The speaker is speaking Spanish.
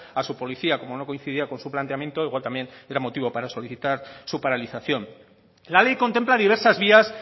a su policía como no coincidía con su planteamiento igual también era motivo para solicitar su paralización la ley contempla diversas vías